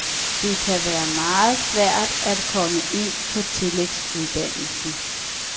Det kan være meget svært at komme ind på tillægsuddannelsen.